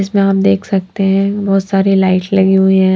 जिसमें आप देख सकते हैं बहोत सारी लाइट लगी हुई है।